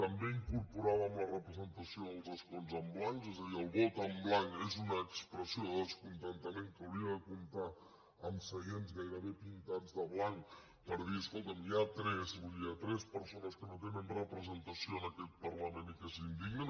també incorporàvem la representació dels escons en blanc és a dir el vot en blanc és una expressió de descontentament que hauria de comptar amb seients gairebé pintats de blanc per dir escolta’m hi ha tres hi ha tres persones que no tenen representació en aquest parlament i que s’indignen